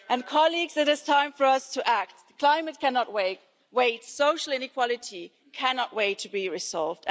Colleagues, it is time for us to act climate cannot wait, social inequality cannot wait to be resolved.